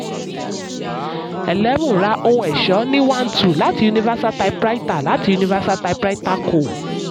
eleven ra ohun ẹ̀ṣọ́ ní one two láti universal typewriter láti universal typewriter co.